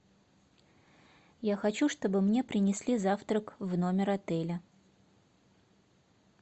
я хочу чтобы мне принесли завтрак в номер отеля